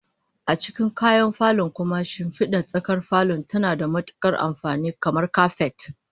A cikin kayan falo kuma, shimfidar tsakar falon tana da matukar amfani, kamar kapet